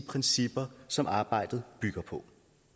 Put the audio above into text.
principper som arbejdet bygger på